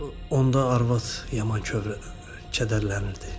Onda arvad yaman kədərlənirdi.